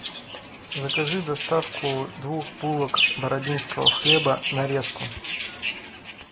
закажи доставку двух булок бородинского хлеба нарезку